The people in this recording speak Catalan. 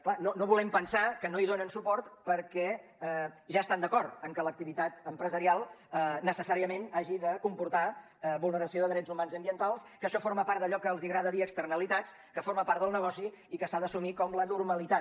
clar no volem pensar que no hi donen suport perquè ja estan d’acord amb que l’activitat empresarial necessàriament hagi de comportar vulneració de drets humans i ambientals que això forma part d’allò que els agrada dir externalitats que forma part del negoci i que s’ha d’assumir com la normalitat